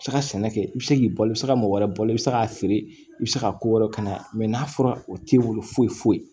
Se ka sɛnɛ kɛ i bɛ se k'i balo i bɛ se ka mɔgɔ wɛrɛ bɔ i bɛ se k'a feere i bɛ se ka ko wɛrɛ kalaya n'a fɔra o t'i bolo foyi foyi